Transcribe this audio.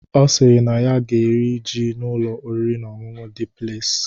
Ọ sịrị na ya ga-eri ji n'Ụlọ oriri na ọṅụṅụ Dị Pleis